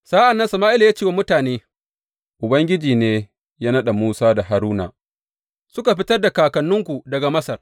Sa’an nan Sama’ila ya ce wa mutane, Ubangiji ne ya naɗa Musa da Haruna suka fitar da kakanninku daga Masar.